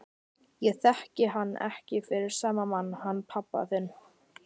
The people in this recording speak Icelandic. Ég þekki hann ekki fyrir sama mann hann pabba þinn.